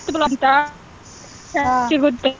ಅಂತಾ ಸಿಗುತ್ತೆ.